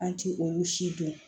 An ti olu si dɔn